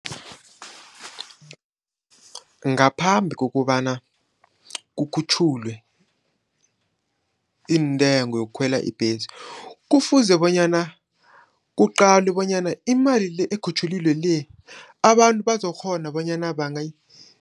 Ngaphambi kokobana kukhutjhulwe iintengo yokukhwela ibhesi, kufuze bonyana kuqalwe bonyana imali le ekukhutjhulilwe le, abantu bazokukghona bonyana